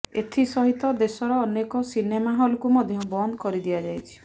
ଏଥିସହିତ ଦେଶର ଅନେକ ସିନେମା ହଲକୁ ମଧ୍ୟ ବନ୍ଦ କରିଦିଆଯାଇଛି